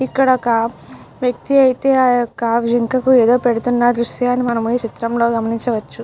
ఇక్కడ ఒక వ్యక్తి అయతే ఆ యొక్క జింకకి ఏదో పెడుతున్న దృశ్యాన్ని మనము ఈ చిత్రంలో గమనించవచ్చు.